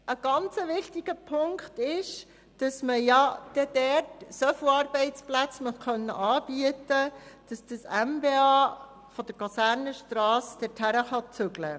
Ein sehr wichtiger Punkt ist, dass man dort genügend Arbeitsplätze anbieten will, damit das MBA dorthin ziehen kann.